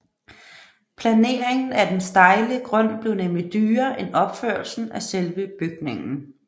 Planeringen af den stejle grund blev nemlig dyrere end opførelsen af selve bygningen